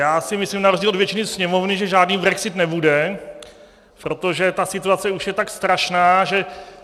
Já si myslím na rozdíl od většiny Sněmovny, že žádný brexit nebude, protože ta situace už je tak strašná, že...